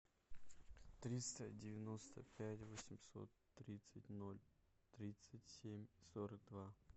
триста девяносто пять восемьсот тридцать ноль тридцать семь сорок два